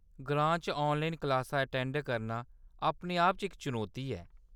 ग्रां च ऑनलाइन क्लासां अटेंड करना अपने आप च इक चनौती ऐ।